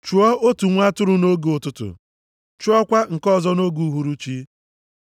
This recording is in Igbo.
Chụọ otu nwa atụrụ nʼoge ụtụtụ, chụọkwa nke ọzọ nʼoge uhuruchi.